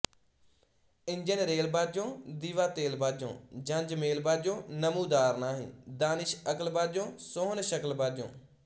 engine rail ਬਾਝੋਂਦੀਵਾ ਤੇਲ ਬਾਝੋਂ ਜੰਜ ਮੇਲ ਬਾਝੋਂਨਮੂਦਾਰ ਨਾਹੀਂ ਦਾਨਿਸ਼ਅਕਲ ਬਾਝੋਂਸੋਹਣ ਸ਼ਕਲ ਬਾਝੋਂ